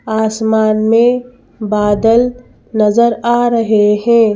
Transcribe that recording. आसमान में बादल नज़र आ रहे हैं।